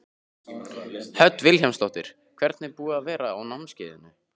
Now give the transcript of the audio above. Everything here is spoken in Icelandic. Hödd Vilhjálmsdóttir: Hvernig er búið að vera á námskeiðinu?